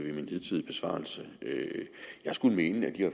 i min hidtidige besvarelse jeg skulle mene at de